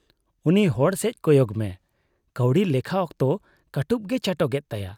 ᱩᱱᱤ ᱦᱚᱲᱥᱮᱪ ᱠᱚᱭᱚᱜ ᱢᱮ ᱾ ᱠᱟᱹᱣᱰᱤ ᱞᱮᱠᱷᱟ ᱚᱠᱛᱚ ᱠᱟᱹᱴᱩᱵ ᱜᱮᱭ ᱪᱟᱴᱚᱜ ᱮᱫ ᱛᱟᱭᱟ ᱾